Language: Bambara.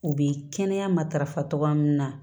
U bɛ kɛnɛya matarafa cogoya min na